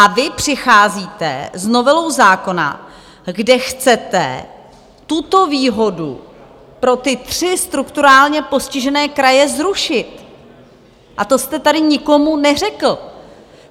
A vy přicházíte s novelou zákona, kde chcete tuto výhodu pro ty tři strukturálně postižené kraje zrušit, a to jste tady nikomu neřekl.